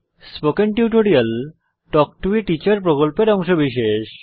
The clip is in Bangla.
spoken tutorial talk to a teacher প্রকল্পের অংশবিশেষ